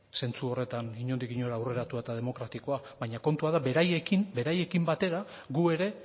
zentzu horretan inondik inora aurreratua eta demokratikoa baina kontua da beraiekin batera gu ere